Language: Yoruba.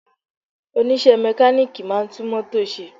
Onise mekaniki máa ń tún mótò se